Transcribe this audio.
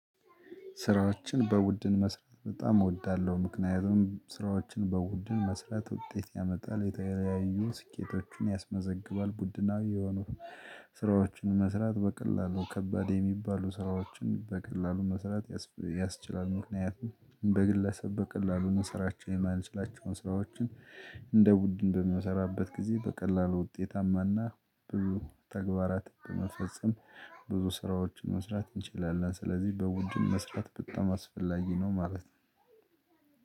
ስራዎችን በቡድን መስራት በጣም እወዳለሁ ምክንያቱም ስራዎችን በቡድን መስራት ውጤት ያመጣል የተለያዩ ስኬቶችን ያስመዘግባል ቡድናዊ የሆኑ። ስራዎችን መስራት በቀላሉ ከባድ የሚባሉ ስራዎችን በቀላሉ መስራት ያስችላል ምክንያቱም በግለሰብ በቀላሉ መሰራቸውን የማልችላቸውን ስራዎችን እንደ ቡድን በሚሰራበት ጊዜ በቀላሉ ውጤታማና ብዙ ተግባራት በመፈጸም ብዙ ስራዎችን መስራት እንችላለን። ስለዚህ በቡድን መስራት በጣም አስፈላጊ ነው ማለት ነው።